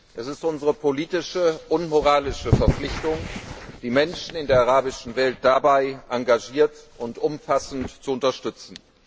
Es ist unsere politische und moralische Verpflichtung, die Menschen in der arabischen Welt dabei engagiert und umfassend zu unterstützen.